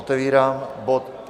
Otevírám bod